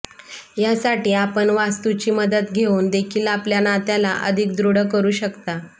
या साठी आपण वास्तूची मदत घेऊन देखील आपल्या नात्याला अधिक दृढ करू शकता